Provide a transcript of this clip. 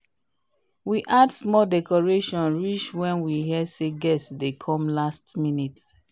we add small decoration reach when we hear say guest dey come last minute